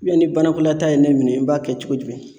ni banakɔlataa ye ne minɛ i b'a kɛ cogo jumɛn ?